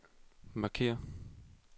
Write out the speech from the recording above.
markér